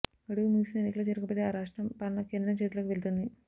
గడువు ముగిసినా ఎన్నికలు జరగకపోతే ఆ రాష్ట్రం పాలన కేంద్రం చేతిల్లోకి వెళ్తుంది